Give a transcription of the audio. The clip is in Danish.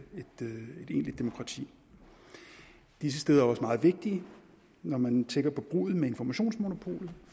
egentligt demokrati disse steder er også meget vigtige når man tænker på bruddet med informationsmonopolet